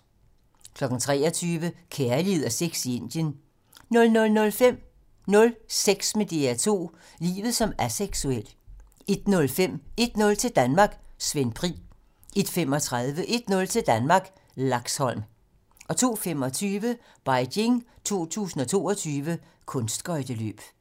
23:00: Kærlighed og sex i Indien 00:05: Nul sex med DR2 - livet som aseksuel 01:05: 1-0 til Danmark: Svend Pri 01:35: 1-0 til Danmark: Laxholm 02:25: Beijing 2022: Kunstskøjteløb